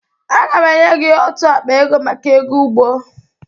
Aga m enye gị ótù akpa ego maka ego ụgbọ.